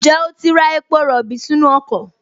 Ǹjẹ́ o ti ra epo rọ̀bì sínú ọkọ̀?